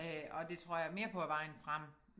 Øh og det tror jeg mere på er vejen frem